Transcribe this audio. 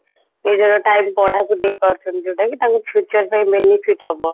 ନିଜର time ପଢାକୁ ଦେଇ ପାରୁଛନ୍ତି ଯୋଉଟା କି ତାଙ୍କ future ପାଇଁ benefit ହବ